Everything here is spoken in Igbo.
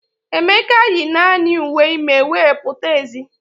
Emeka yi naanị uwe ime wee pụta ezi.